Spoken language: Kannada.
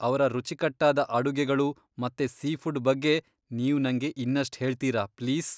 ಅವ್ರ ರುಚಿಕಟ್ಟಾದ ಅಡುಗೆಗಳು ಮತ್ತೆ ಸೀಫುಡ್ ಬಗ್ಗೆ ನೀವ್ ನಂಗೆ ಇನ್ನಷ್ಟ್ ಹೇಳ್ತೀರಾ ಪ್ಲೀಸ್?